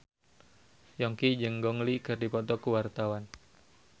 Yongki jeung Gong Li keur dipoto ku wartawan